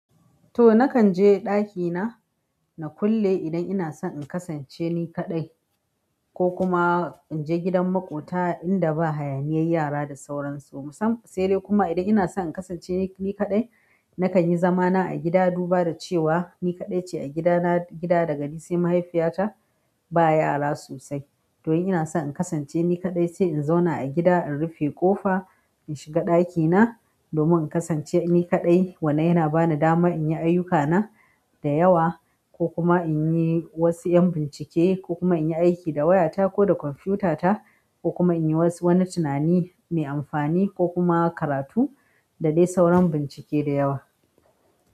To nakan je ɗakina na kulle idan ina so in kasance ni kaɗai ko kuma in je gidan maƙota inda ba hayaniyar yara da sauransu. Musan-- sai dai kuma idan ina so in kasance ni kaɗai, nakan yi zamana a gida duba da cewa ni kaɗai ce a gidana. Gida daga ni sai mahaifiyata ba yara sosai. To in ina so in kasance ni kaɗai sai in zauna a gida, in rufe ƙofa, in shiga ɗakina domin in kasance ni kaɗai. Wannan yana bani dama in yi ayyukana da yawa ko kuma inyi wasu yan bincke ko kuma inyi aiki da wayata ko da kwamfiyuta ta ko kuma in yi wasu wani tunani mai amfani ko kuma karatu da dai sauran bincike da yawa.